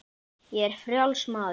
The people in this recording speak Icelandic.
Ég er frjáls maður!